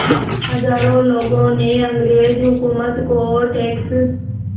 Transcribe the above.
हज़ारों लोगों ने अंग्रेज़ हुकूमत को टैक्स